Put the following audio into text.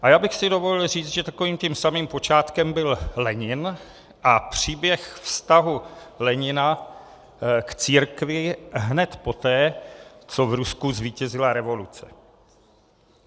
A já bych si dovolil říct, že takovým tím samým počátkem byl Lenin a příběh vztahu Lenina k církvi hned poté, co v Rusku zvítězila revoluce.